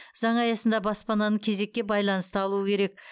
заң аясында баспананы кезекке байланысты алуы керек